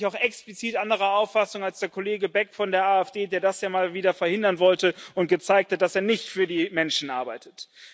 Und da bin ich auch explizit anderer Auffassung als der Kollege Beck von der AfD, der das ja mal wieder verhindern wollte und gezeigt hat, dass er nicht für die Menschen arbeitet.